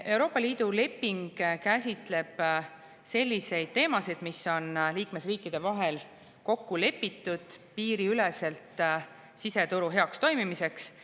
Euroopa Liidu leping käsitleb selliseid teemasid, mis on liikmesriikide vahel kokku lepitud piiriüleselt siseturu heaks toimimiseks.